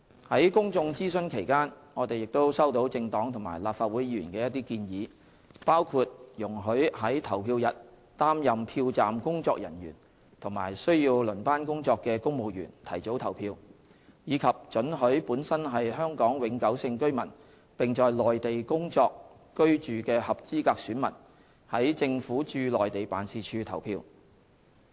在公眾諮詢期間，我們亦收到政黨及立法會議員的一些建議，包括容許於投票日擔任票站工作人員及需要輪班工作的公務員提早投票，以及准許本身是香港永久性居民並在內地工作/居住的合資格選民在政府駐內地辦事處投票。